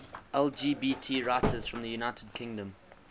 lgbt writers from the united kingdom